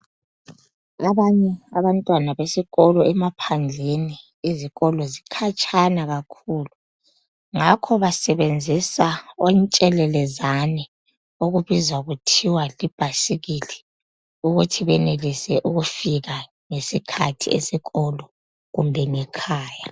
Abanye abantwana besikolo emaphandleni izikolo zikhatshana kakhulu ngakho basebenzisa otshelelezane okubizwa kuthiwa libhayisikili ukuthi benelise ukufika ngesikhathi esikolo kumbe ngekhaya.